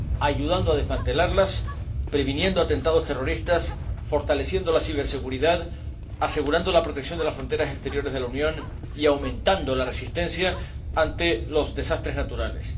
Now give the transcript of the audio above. ayudando a desmantelarlas, previniendo atentados terroristas, fortaleciendo la ciberseguridad, asegurando la protección de las fronteras exteriores de la Unión y aumentando la resistencia ante los desastres naturales.